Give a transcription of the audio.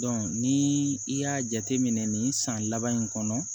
ni i y'a jate minɛ nin san laban in kɔnɔ